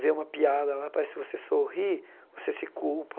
Vê uma piada lá, parece que você sorri, você se culpa.